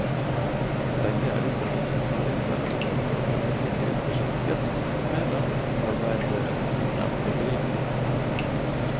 Begge er utdannet som journalister, og er foreløpig heltidsbeskjeftiget med annet arbeide ved siden av galleridriften.